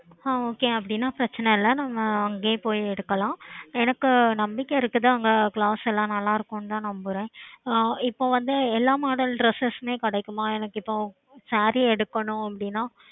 ஆஹ் okay அப்பிடின்னா பிரச்னை இல்ல நம்ம அங்கேயே போயி எடுக்கலாம் எனக்கு நம்பிக்கை இருக்குது அங்க clothes எல்லாம் நல்ல இருக்கும் நான் நம்புறேன் ஆஹ் இப்போ வந்து எல்லா model dresses கிடைக்குமா எனக்கு இப்போ saree எடுக்கணும் அப்பிடின்னா